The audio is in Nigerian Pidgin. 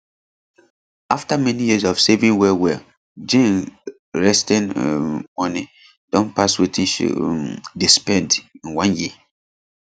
after many years of saving wellwell jane resting um money don pass wetin she um dey spend in one year